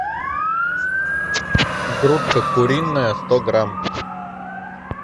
грудка куриная сто грамм